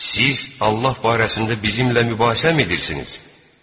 Siz Allah barəsində bizimlə mübahisəmi edirsiniz?